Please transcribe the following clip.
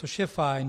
Což je fajn.